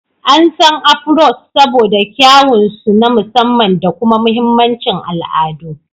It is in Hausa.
An san "Afros" saboda kyawun su na musamman da kuma mahimmancin al'adu.